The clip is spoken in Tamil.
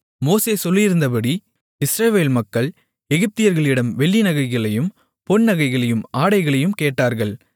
மோசே சொல்லியிருந்தபடி இஸ்ரவேல் மக்கள் எகிப்தியர்களிடம் வெள்ளி நகைகளையும் பொன் நகைகளையும் ஆடைகளையும் கேட்டார்கள்